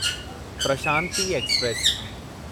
Prashanti express